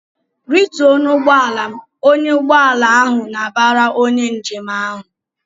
"Rituo n'ụgbọala m!" Ọnyá ugbọala ahụ na-abara onye njem ahụ.